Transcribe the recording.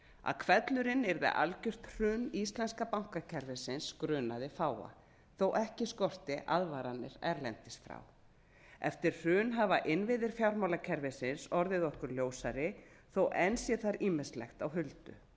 að hvellurinn yrði algert hrun íslenska bankakerfisins grunaði fáa þó ekki skorti aðvaranir erlendis frá eftir hrun hafa innviðir fjármálakerfisins orðið okkur ljósari þó enn sé þar ýmislegt á huldu